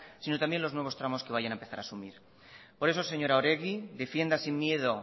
sino también los nuevos tramos que van a empezar a asumir por eso señora oregi defienda sin miedo